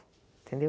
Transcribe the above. Entendeu?